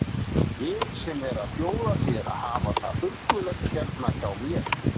Ég sem er að bjóða þér að hafa það huggulegt hérna hjá mér!